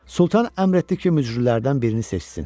Sultan əmr etdi ki, mücrülərdən birini seçsin.